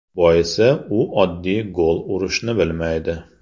Boisi u oddiy gol urishni bilmaydi.